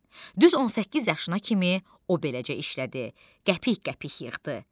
Düz 18 yaşına kimi o beləcə işlədi, qəpik-qəpik yığdı.